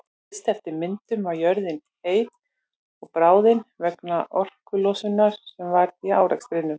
Fyrst eftir myndun var jörðin heit og bráðin vegna orkulosunar sem varð í árekstrunum.